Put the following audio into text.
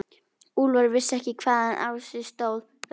Úlfar vissi ekki hvaðan á sig stóð veðrið.